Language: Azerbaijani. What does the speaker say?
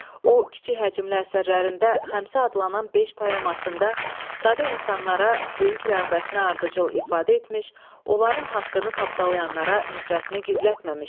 O kiçik həcmli əsərlərində Xəmsə adlanan beş poemasında sadə insanlara böyük rəğbətini ardıcıl ifadə etmiş, onların haqqını tapdalayanlara nifrətini gizlətməmişdi.